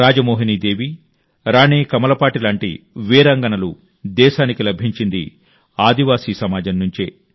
రాజమోహినీ దేవి రాణి కమలపాటి లాంటి వీరాంగనలు దేశానికి లభించింది ఆదివాసీ సమాజం నుంచే